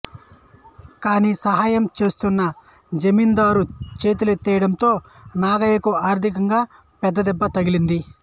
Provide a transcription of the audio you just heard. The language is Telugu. కానీ సహాయం చేస్తానన్న జమీందారు చేతులెత్తేయడంతో నాగయ్యకు ఆర్థికంగా పెద్ద దెబ్బ తగిలింది